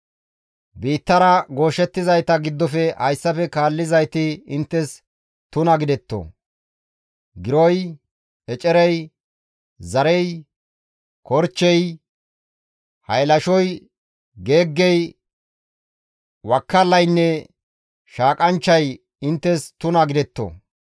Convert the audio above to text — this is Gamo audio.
« ‹Biittara gooshettizayta giddofe hayssafe kaallizayti inttes tuna gidetto; giroy, ecerey, zarey, korchchey, haylashoy, geeggey, wakkalaynne, shaaqanchchay inttes tuna gidetto.